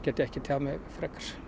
get ég ekki tjáð mig um